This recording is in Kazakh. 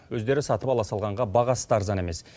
өздері сатып ала салғанға бағасы да арзан емес